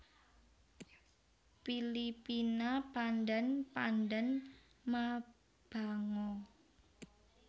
Pilipina Pandan Pandan mabango